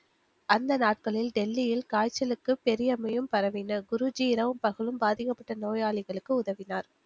அந்த நாட்களில் டெல்லியில் காய்ச்சலுக்கு பெரிய அம்மையும் பரவின குருஜி இரவும் பகலும் பாதிக்கப்பட்ட நோயாளிகளுக்கு உதவினார்